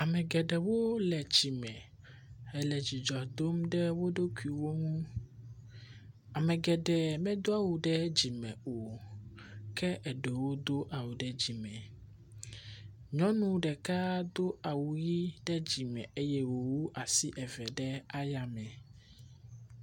Ame geɖewo le tsi me, wole dzidzɔ dom ɖe wo ɖokuiwo ŋu. Ame geɖe medo awu ɖe dzime o, ke eɖewo do awu ɖe dzime. Nyɔnu ɖeka do awu ɖe dzime eye wòwu asi eve ɖe ayame.